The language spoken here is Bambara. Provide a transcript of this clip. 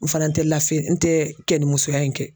N fana tɛ lafiya n tɛ kɛnimusoya in kɛ.